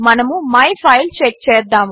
మనము my file check చేద్దాము